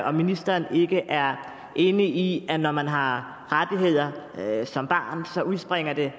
om ministeren ikke er enig i at når man har rettigheder som barn udspringer det